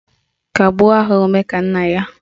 Kagbuo aha Omekannaya